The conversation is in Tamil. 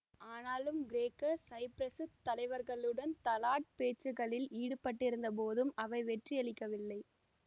ஆனாலும் கிரேக்க சைப்பிரசுத் தலைவர்களுடன் தலாட் பேச்சுக்களில் ஈடுபட்டிருந்த போதும் அவை வெற்றியளிக்கவில்லை